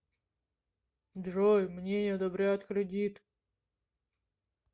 джой мне не одобряют кредит